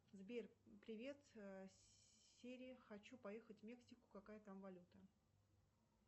сбер привет сири хочу поехать в мексику какая там валюта